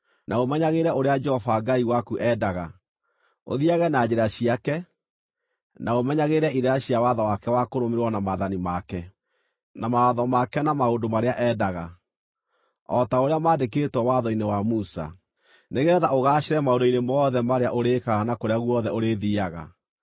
na ũmenyagĩrĩre ũrĩa Jehova Ngai waku endaga: Ũthiiage na njĩra ciake, na ũmenyagĩrĩre irĩra cia watho wake wa kũrũmĩrĩrwo na maathani make, na mawatho make na maũndũ marĩa endaga, o ta ũrĩa maandĩkĩtwo Watho-inĩ wa Musa, nĩgeetha ũgaacĩre maũndũ-inĩ mothe marĩa ũrĩĩkaga na kũrĩa guothe ũrĩthiiaga,